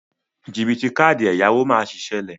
Jìbìtì káàdì ẹ̀yáwó má sí ṣẹlẹ.